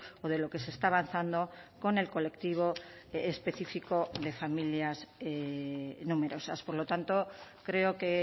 o de lo que se está avanzando con el colectivo específico de familias numerosas por lo tanto creo que